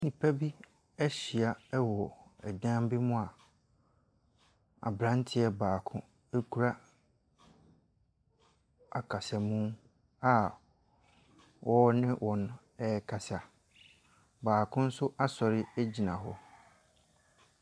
Nnipa bi ahyia wɔ dan bi mu a aberanteɛ baako kura Akasamu a ɔne wɔn rekasa. Baako nso asɔre gyina hɔ.